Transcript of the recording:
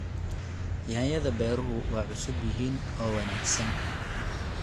Yaanyada beeruhu waa cusub yihiin oo wanaagsan.